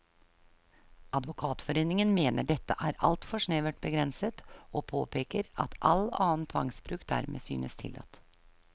Advokatforeningen mener dette er altfor snevert begrenset, og påpeker at all annen tvangsbruk dermed synes tillatt.